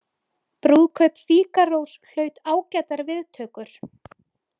Brúðkaup Fígarós hlaut ágætar viðtökur.